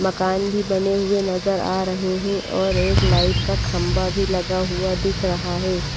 मकान भी बने हुए नजर आ रहे है और एक लाइट का खंबा भी लगा हुआ दिख रहा है।